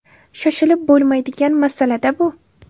Shoshilib bo‘lmaydigan masala-da bu.